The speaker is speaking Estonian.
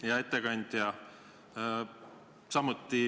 Hea ettekandja!